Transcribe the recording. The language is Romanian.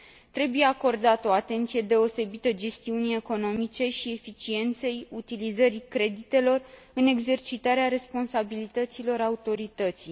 Trebuie acordată o atenție deosebită gestiunii economice și eficienței utilizării creditelor în exercitarea responsabilităților Autorității.